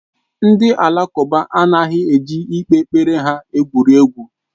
Ndị Alakụba anaghị eji ikpe kpere ha egwu egwuregwu.